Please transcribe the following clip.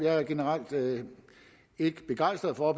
er generelt ikke begejstret for at